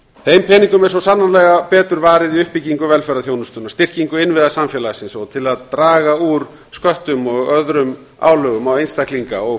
þeim peningum er svo sannarlega betur varið í uppbyggingu velferðarþjónustunnar styrkingu innviða samfélagsins og til að draga úr sköttum og öðrum álögum á einstaklinga og